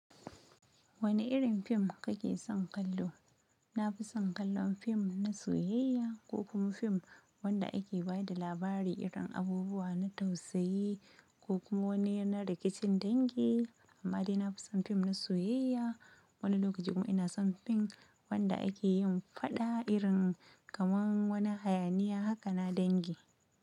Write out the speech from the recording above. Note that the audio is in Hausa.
Wane irin fim kake son kallo? Na fi son kallon fim na soyayya ko kuma fim wanda ake ba da labari irin abubuwa na tausayi ko kuma wani na rikicin dangi. Amma dai na fi son fim na soyayya. Wani lokaci kuma ina son fim wanda ake yin faɗa irin kamar wani hayaniya haka na dangi.